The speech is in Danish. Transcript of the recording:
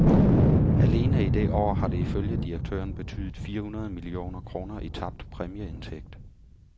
Alene i det år har det ifølge direktøren betydet fire hundrede millioner kroner i tabt præmieindtægt.